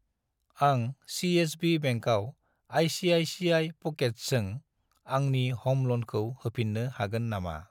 आं सि.एस.बि. बेंकआव आइ.सि.आइ.सि.आइ. प'केट्सजों आंनि ह'म ल'नखौ होफिन्नो हागोन नामा?